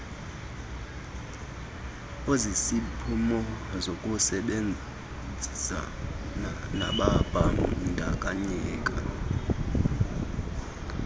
osisiphumo sokusebenzisana nababandakanyekayo